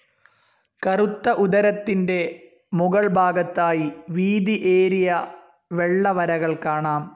കറുത്ത ഉദരത്തിൻ്റെ മുകൾ ഭാഗത്തായി വീതിഏരിയ വെള്ള വരകൾ കാണാം.